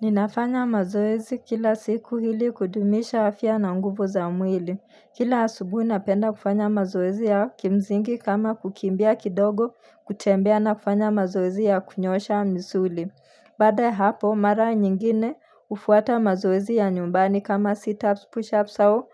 Ninafanya mazoezi kila siku ili kudumisha afya na nguvu za mwili. Kila asubui napenda kufanya mazoezi ya kimzingi kama kukimbia kidogo kutembea na kufanya mazoezi ya kunyoosha misuli. Baada hapo mara nyingine hufuata mazoezi ya nyumbani kama sit ups push ups au